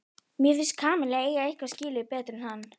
Mér finnst Kamilla eiga eitthvað betra skilið en hann.